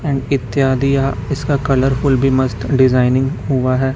And इत्यादि यहां इसका कलरफूल भी मस्त डिजाइनिंग हुआ है।